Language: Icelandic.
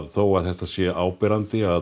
þótt þetta sé áberandi að